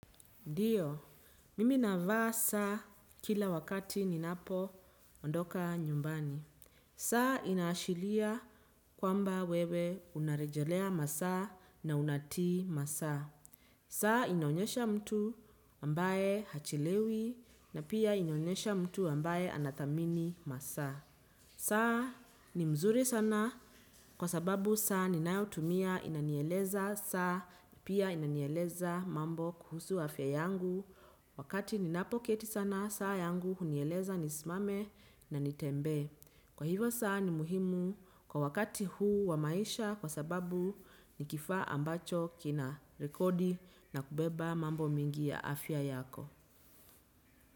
Ndiyo, mimi navaa saa kila wakati ninapoondoka nyumbani. Saa inaashilia kwamba wewe unarejelea masaa na unatii masaa. Saa inaonyesha mtu ambaye hachelewi na pia inaonyesha mtu ambaye anatamini masa. Saa ni mzuri sana kwa sababu saa ninayotumia inanieleza. Saa ni pia inanyeleza mambo kuhusu afya yangu wakati ninapoketi sana saa yangu unieleza nisimame na nitembe. Kwa hivyo saa ni muhimu kwa wakati huu wa maisha kwa sababu ni kifaa ambacho kina rekodi na kubeba mambo mengi ya afya yako.